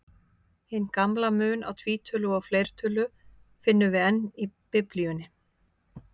Hinn gamla mun á tvítölu og fleirtölu finnum við enn í Biblíunni.